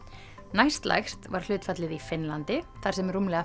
næstlægst var hlutfallið í Finnlandi þar sem rúmlega